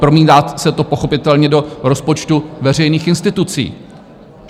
Promítá se to pochopitelně do rozpočtu veřejných institucí.